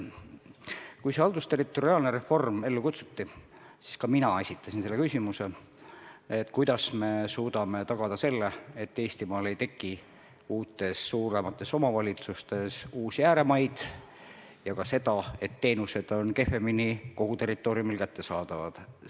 Kui haldusterritoriaalne reform ellu kutsuti, siis ka mina esitasin küsimuse, kuidas me suudame tagada selle, et Eestis ei teki uutes suuremates omavalitsustes uusi ääremaid ja et teenused poleks kogu territooriumil kehvemini kättesaadavad.